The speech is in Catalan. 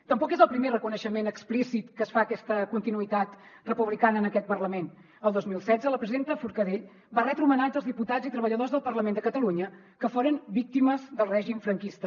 tampoc és el primer reconeixement explícit que es fa a aquesta continuïtat republicana en aquest parlament el dos mil setze la presidenta forcadell va retre homenatge als diputats i treballadors del parlament de catalunya que foren víctimes del règim franquista